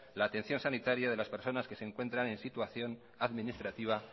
la atención sanitaria de las personas que se encuentran en situación administrativa